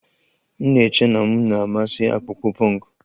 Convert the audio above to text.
M na-eche na m na-amasị akpụkpọ punk